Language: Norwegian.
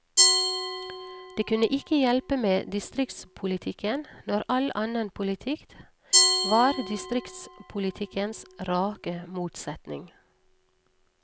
Det kunne ikke hjelpe med distriktspolitikken, når all annen politikk var distriktspolitikkens rake motsetning.